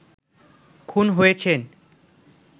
খুন হয়েছেন